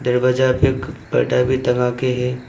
दरवाजा पे एक पर्दा भी टंगा के है।